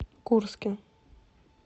курске